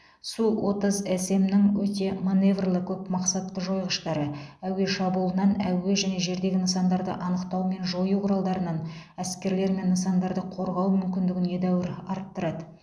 су отыз см нің өте маневрлі көп мақсатты жойғыштары әуе шабуылынан әуе және жердегі нысандарды анықтау мен жою құралдарынан әскерлер мен нысандарды қорғау мүмкіндігін едәуір арттырады